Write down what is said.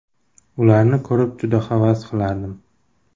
Ularni ko‘rib juda havas qilardim.